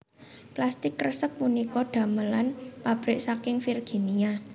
Plastik kresek punika damelan pabrik saking Virginia